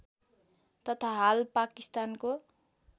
तथा हाल पाकिस्तानको